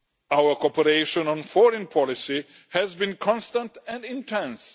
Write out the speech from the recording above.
Our cooperation on foreign policy has been constant and intense.